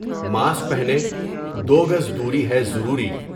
Mask پہنیں دوگز دوری ہے ضروری ۔